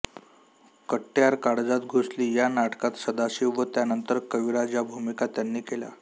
कट्यार काळजात घुसली या नाटकात सदाशिव व त्यानंतर कविराज या भूमिका त्यांनी केल्या